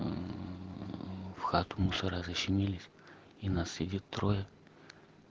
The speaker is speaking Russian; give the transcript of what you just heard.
в хату мусора защемились и нас сидит трое